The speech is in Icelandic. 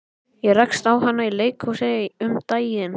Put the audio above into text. Ég rakst á hana í leikhúsi um daginn.